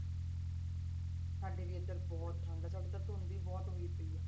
ਸਾਡੇ ਵੀ ਇੱਧਰ ਬਹੁਤ ਠੰਢ ਹੈ ਸਾਡੇ ਤਾਂ ਧੁੰਦ ਹੀ ਬਹੁਤ ਹੋਈ ਪਈ ਹੈ।